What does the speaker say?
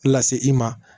Lase i ma